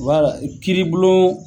kiri bulon